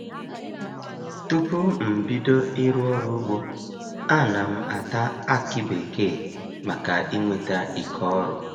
Tupu m bido ịrụ ọrụ ugbo a na m ata akị bekee maka inweta ike ọrụ.